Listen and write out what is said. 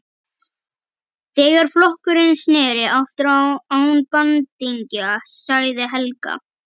Þegar flokkurinn sneri aftur án bandingja, sagði Helga.